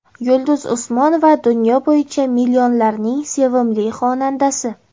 Yulduz Usmonova dunyo bo‘yicha millionlarning sevimli xonandasi.